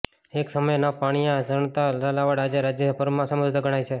એક સમયે ન પાણીયા ગણાતા ઝાલાવાડ આજે રાજ્યભરમાં સમૃદ્ધ ગણાય છે